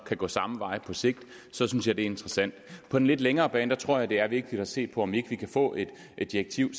gå samme vej på sigt så synes jeg det er interessant på den lidt længere bane tror jeg det er vigtigt at se på om ikke vi kan få et direktiv